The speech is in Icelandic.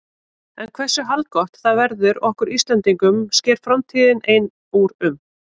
En hversu haldgott það verður okkur Íslendingum sker framtíðin ein úr um.